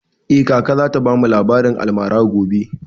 Eh, kaka za ta bamu labarin almara gobe